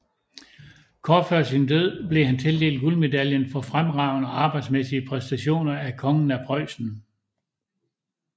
Kort før sin død blev han tildelt guldmedaljen for fremragende arbejdsmæssige præstationer af Kongen af Preußen